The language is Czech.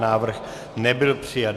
Návrh nebyl přijat.